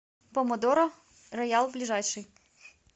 помодоро роял ближайший